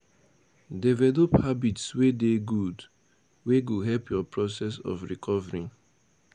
Develop habits wey dey good, wey go help your process of recovering